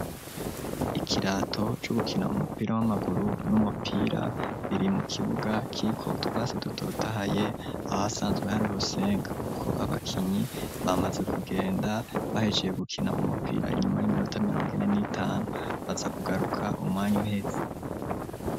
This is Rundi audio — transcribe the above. Ikirato, co gukina umupira, w'amaguru, n'umupira, biri mu kibuga, kiriko utwatsi, dutotahaye, ahasanzwe hari urusenga; kuko abakinyi, bamaze kugenda, bahejeje gukina umupira, inyuma y'iminota, mirongo ini n'itanu; baza kugaruka, umwanya uheze.